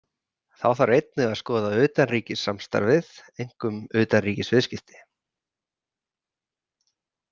Þá þarf einnig að skoða utanríkissamstarfið, einkum utanríkisviðskipti.